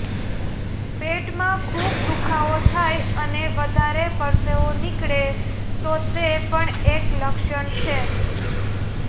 પેટમાં ખૂબ દુખાવો થાય અને વધારે પરસેવો નીકળે તો તે પણ એક લક્ષણ છે